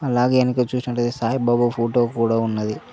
అలాగే ఎనక చూసినట్టయితే సాయిబాబా ఫోటో కూడా ఉన్నది.